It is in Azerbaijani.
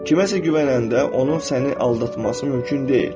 Kiməsə güvənəndə onun səni aldatması mümkün deyil.